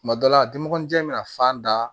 Tuma dɔ la dimɔgɔninjɛ in bɛna fan da